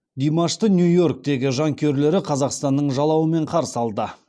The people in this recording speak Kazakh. димашты нью иорктегі жанкүйерлері қазақстанның жалауымен қарсы алды